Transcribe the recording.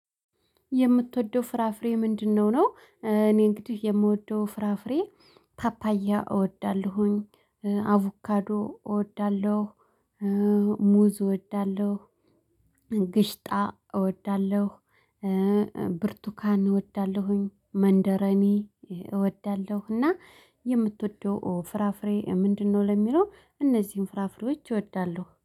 የምትወደው ፍራፍሬ ምንድነው? ነው እኔ እንግዲህ የምወደው ፍራፍሬ ፓፓያ እወዳለሁኝ አቮካዶ እወዳለሁ ሙዝ እወዳለሁ ግሽጣ እወዳለሁ ብርቱካን እወዳለሁኝ መንደረኒ እወዳለሁ። እና የምትወደው ፍራፍሬ ምንድነው? ለሚለው እነዚህን ፍራፍሬዎች እወዳለሁ